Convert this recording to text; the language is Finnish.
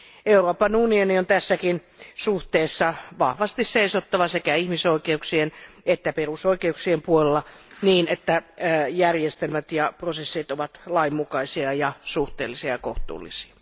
Euroopan unionin on tässäkin suhteessa vahvasti seisottava sekä ihmisoikeuksien että perusoikeuksien puolella, niin että järjestelmät ja prosessit ovat lainmukaisia, suhteellisia ja kohtuullisia.